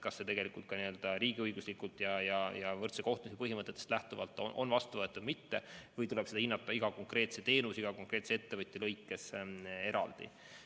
Kas see ka riigiõiguslikult ja võrdse kohtlemise põhimõtetest lähtuvalt on vastuvõetav või mitte, seda ehk tuleb hinnata iga konkreetse teenuse, iga konkreetse ettevõtja puhul eraldi.